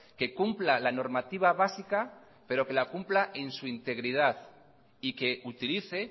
que cumpla la normativa básica pero que la cumpla en su integridad y que utilice